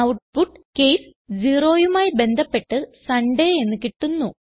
output case 0യുമായി ബന്ധപ്പെട്ട് സുണ്ടയ് എന്ന് കിട്ടുന്നു